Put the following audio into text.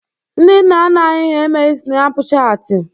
Ndị nna nna anyị ha emeghi sịnapụ chaatị.